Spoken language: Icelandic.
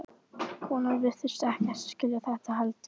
Konan virtist ekkert skilja þetta heldur.